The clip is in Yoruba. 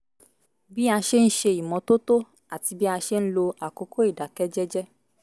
bí a ṣe ń ṣe ìmọ́tótó àti bí a ṣe ń lo àkókò ìdákẹ́ jẹ́jẹ́